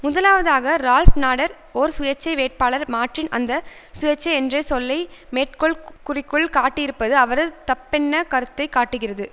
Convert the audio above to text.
முதலாவதாக Ralph Nader ஓர் சுயேட்சை வேட்பாளர் மார்டின் அந்த சுயேட்சை என்ற சொல்லை மேற்கோள் குறிக்குள் காட்டியிருப்பது அவரது தப்பெண்ண கருத்தை காட்டுகிறது